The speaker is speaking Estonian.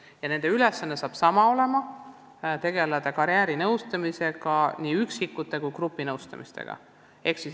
Inimeste ülesanne saab olema sama: tegeleda nii üksikisikute kui gruppide karjäärinõustamisega.